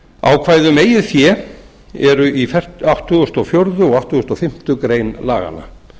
ákvæði um eigið fé eru í áttatíu og fjögur og áttugustu og fimmtu grein laganna